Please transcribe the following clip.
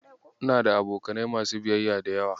Ina da abokanai masu biyayya da yawa.